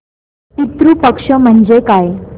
पितृ पक्ष म्हणजे काय